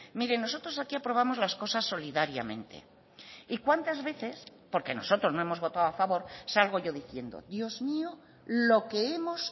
mire nosotros aquí aprobamos las cosas solidariamente y cuántas veces porque nosotros no hemos votado a favor salgo yo diciendo dios mío lo que hemos